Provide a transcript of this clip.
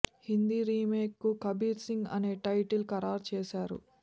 Hindi remake కు కబీర్ సింగ్ అనే title ఖరారు చేశారు